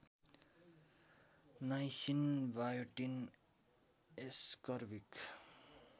niacin biotin ascorbic